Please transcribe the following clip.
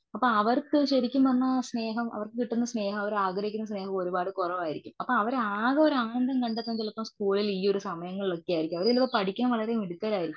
അപ്പോ അവർക്ക് ശരിക്കും പറഞ്ഞാൽ സ്നേഹം അവർക്ക് കിട്ടുന്ന സ്നേഹം അവർ ആഗ്രഹിക്കുന്ന സ്നേഹം ഒരുപാട് കുറവായിരിക്കും. അവർ അകെ ഒരാനന്തം കണ്ടെത്തുന്നത് ചിലപ്പോൾ സ്കൂളിൽ ഈ ഒരു സമയങ്ങളിലായിരിക്കും. അവർ പഠിക്കാൻ വളരെ മിടുക്കരായിരിക്കും.